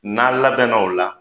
N'a labɛnna o la